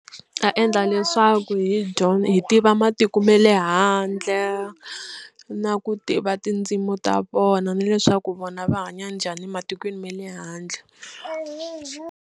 Ta endla leswaku hi hi tiva matiko ma le handle na ku tiva tindzimi ta vona na leswaku vona va hanya njhani matikweni ma le handle.